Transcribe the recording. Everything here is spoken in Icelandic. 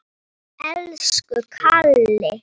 Elsku Kalli.